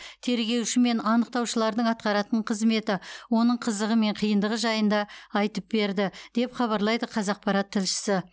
тергеуші мен анықтаушылардың атқаратын қызметі оның қызығы мен қиындығы жайында айтып берді деп хабарлайды қазақпарат тілшісі